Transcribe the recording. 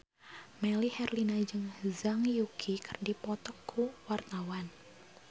Melly Herlina jeung Zhang Yuqi keur dipoto ku wartawan